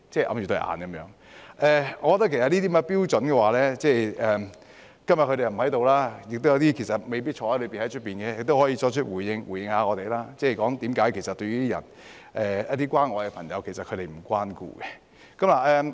我覺得這些標準......他們今天不在席，有些未必在坐牢，在外面的也可以回應一下我們，說說他們為何其實不會關顧一些需要關愛的朋友。